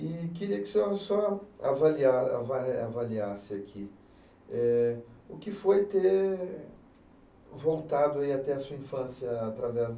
E queria que o senhor só avalia, avali, avaliasse aqui, eh, o que foi ter voltado, aí, até a sua infância através...